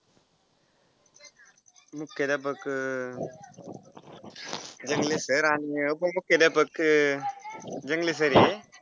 मुख्याध्यापक रंगले sir आणि उपमुख्याध्यापक अं रंगले sir आहे.